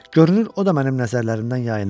Görünür o da mənim nəzərlərimdən yayınırdı.